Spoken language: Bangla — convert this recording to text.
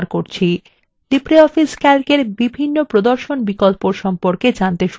আসুন libreoffice calc এর বিভিন্ন প্রদর্শন বিকল্পর সম্পর্কে জানতে শুরু করা যাক